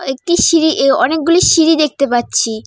একটি সিঁড়ি এ অনেকগুলি সিঁড়ি দেখতে পাচ্ছি।